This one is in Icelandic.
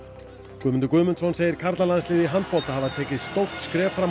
Guðmundur Guðmundsson segir karlalandsliðið í handbolta hafa tekið stórt skref fram á